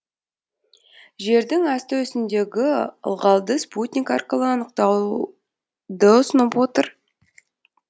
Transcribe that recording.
жердің асты үстіндегі ылғалды спутник арқылы анықтауды ұсынып отыр